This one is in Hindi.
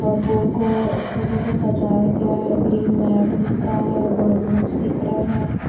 और बोर्ड को फूलों से सजाया गया है ग्रीन मैट दिख रहा है बालूंस दिख रहे हैं।